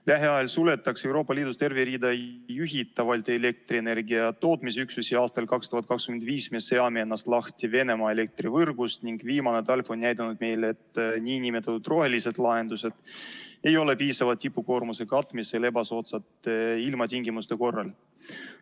Lähiajal suletakse Euroopa Liidus terve rida juhitavaid elektrienergia tootmisüksusi, aastal 2025 me seome ennast lahti Venemaa elektrivõrgust ning viimane talv näitas, et nn rohelised lahendused ei ole piisavad tipukoormuse katmiseks ebasoodsate ilmatingimuste korral.